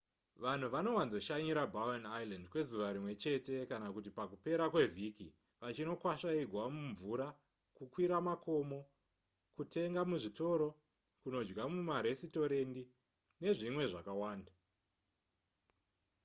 vanhu vanowanzoshanyira bowen island kwezuva rimwe chete kana kuti pakupera kwevhiki vachinokwasva igwa mumvura kukwira makomo kutenga muzvitoro kunodya mumaresitorendi nezvimwe zvakawanda